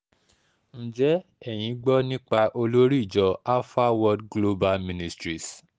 ǹjẹ́ eyín gbọ́ nípa olórí ìjọ alpha world global ministries